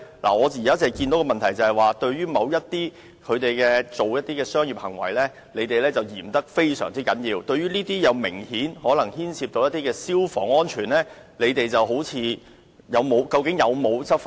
我現在看到的問題是，對於某些商業行為，當局非常嚴格執法，但對於這些明顯牽涉消防安全問題的活動，究竟有否執法呢？